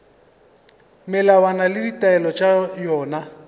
melawana le ditaelo tša yona